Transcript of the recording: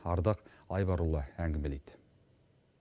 ардақ айбарұлы әңгімелейді